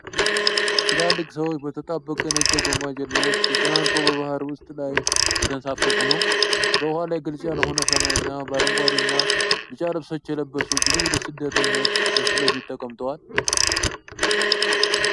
ትላልቅ ሰዎች በተጣበቀ ነጭ የጎማ ጀልባ ውስጥ ተጨናንቀው በባህር ውሃ ላይ እየተንሳፈፉ ነው። በውሃው ላይ ግልጽ ያልሆነ ሰማይና በአረንጓዴ እና ቢጫ ልብሶች የለበሱ ብዙ ስደተኞች ከፊት ለፊት ተቀምጠዋል።